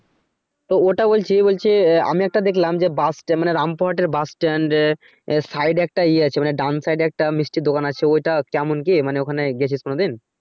তো ওটা বলছি বলছে আহ আমি একটা দেখলাম যে বাসট্যান্ডে মানে রামপুর হাটের বাস stand এ আহ side এ একটা ইয়ে আছে মানে ডান side এ একটা মিষ্টির দোকান আছে ওই টা কেমন কি মানে ওখানে গেছিস কোনদিন?